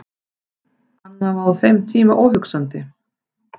Annað var á þeim tíma óhugsandi.